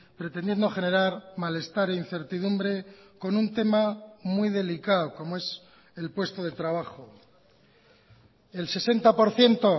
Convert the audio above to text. pretendiendo generar malestar e incertidumbre con un tema muy delicado como es el puesto de trabajo el sesenta por ciento